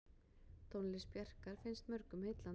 Tónlist Bjarkar finnst mörgum heillandi.